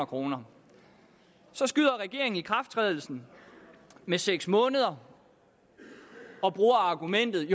kroner så skyder regeringen ikrafttrædelsen med seks måneder og bruger argumentet